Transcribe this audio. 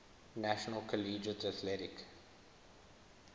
national collegiate athletic